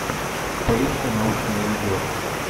поищи научное видео